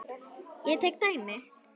Ég tek dæmi.